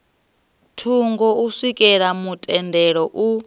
thungo u swikela mutendelo u